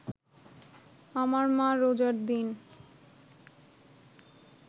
আমার মা রোজার দিন